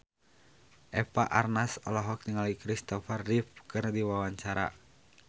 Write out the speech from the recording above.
Eva Arnaz olohok ningali Christopher Reeve keur diwawancara